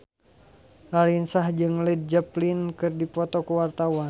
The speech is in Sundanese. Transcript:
Raline Shah jeung Led Zeppelin keur dipoto ku wartawan